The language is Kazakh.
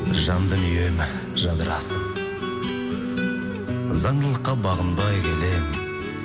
жан дүнием жадырасын заңдылыққа бағынбай келемін